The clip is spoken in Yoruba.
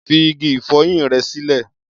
Fi igi ìfọyín rẹ sílẹ̀.